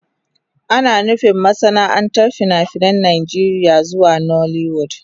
Ana nufin masana'antar fina-finan Najeriya zuwa nollywood.